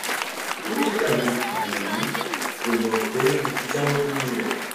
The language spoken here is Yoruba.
dókítà mi kò mọ̀ mi kò mọ̀ pé mo ti jáwọ́ nínú rẹ̀